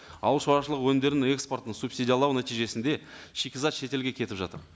ауыл шаруашылығы өнімдерін экспортын субсидиялау нәтижесінде шикізат шетелге кетіп жатыр